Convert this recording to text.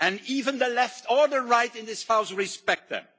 Even the left or the right in this House respect them.